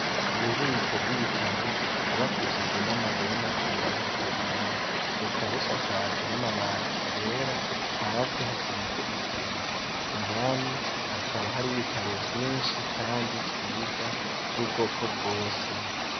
Ububiko bw'ibitabo bwubakishijwe n'amabuye y'amaturirano ahiye. Bukaba busakajwe n'amabati yera hasi hasize isima. Indani hakaba hariyo ibitabo vyinshi kandi vyiza vy'ubwoko bwose